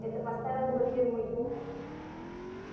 это поставило бы фирму ю